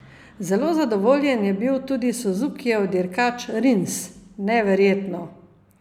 Zelo zadovoljen je bil tudi Suzukijev dirkač Rins: "Neverjetno.